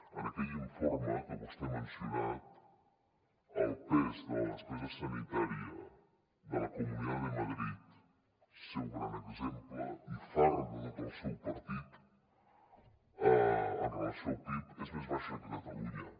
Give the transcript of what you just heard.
en aquell informe que vostè ha mencionat el pes de la despesa sanitària de la comunidad de madrid el seu gran exemple i far de tot el seu partit en relació amb el pib és més baixa que a catalunya